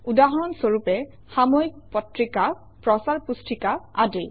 উদাহৰণ স্বৰূপে - সাময়িক পত্ৰিকা প্ৰচাৰ পুস্তিকা আদি